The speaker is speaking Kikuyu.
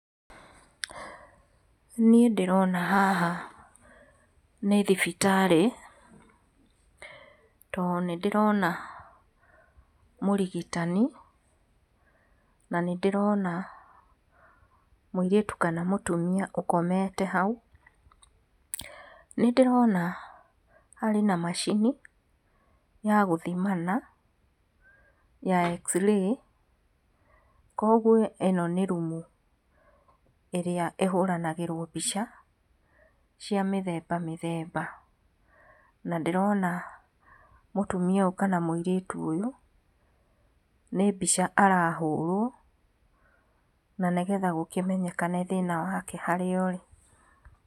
Niĩ ndĩrona haha nĩ thibitarĩ, tondũ nĩ ndĩrona mũrigitani, na nĩ ndĩrona mũirĩtu kana mũtumia ũkomete hau. Nĩ ndĩrona arĩ na macini ya gũthimana ya x-ray, koguo ĩno nĩ rumu ĩrĩa ĩhuranagĩrwo mbica, cia mĩthemba mĩthemba, na ndĩrona mũtumia ũyũ kana mũirĩtu ũyũ, nĩ mbica arahũrwo, na nĩgetha gũkĩmenyekane thĩna wake harĩa ũrĩ.